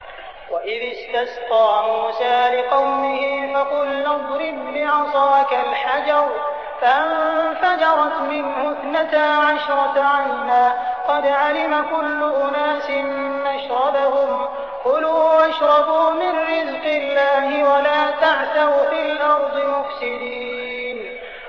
۞ وَإِذِ اسْتَسْقَىٰ مُوسَىٰ لِقَوْمِهِ فَقُلْنَا اضْرِب بِّعَصَاكَ الْحَجَرَ ۖ فَانفَجَرَتْ مِنْهُ اثْنَتَا عَشْرَةَ عَيْنًا ۖ قَدْ عَلِمَ كُلُّ أُنَاسٍ مَّشْرَبَهُمْ ۖ كُلُوا وَاشْرَبُوا مِن رِّزْقِ اللَّهِ وَلَا تَعْثَوْا فِي الْأَرْضِ مُفْسِدِينَ